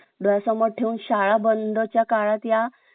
डोळ्य समोर शाळा बंदच्या काळात या